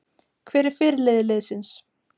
Hver er fyrirliði liðsins?